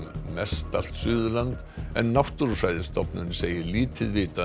mestallt Suðurland en Náttúrufræðistofnun segir lítið vitað um